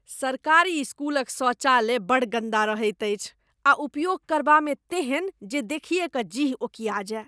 सरकारी स्कूलक शौचालय बड़ गन्दा रहैत अछि आ उपयोग करबामे तेहन जे देखिए कऽ जीह ओकिया जाय।